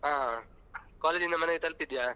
ಆ college ಇಂದ ಮನೆಗ್ ತಲುಪಿದ್ಯ?